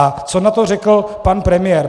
A co na to řekl pan premiér?